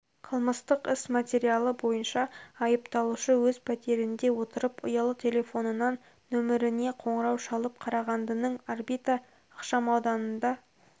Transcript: қылмыстық іс материалы бойынша айыпталушы өз пәтерінде отырып ұялы телефонынан нөміріне қоңырау шалып қарағандының орбита ықшамауданында